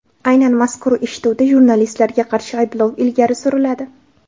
Aynan mazkur eshituvda jurnalistlarga qarshi ayblov ilgari suriladi.